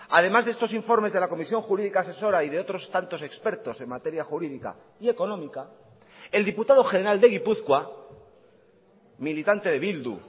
además de estos informes de la comisión jurídica asesora y de otros tantos expertos en materia jurídica y económica el diputado general de gipuzkoa militante de bildu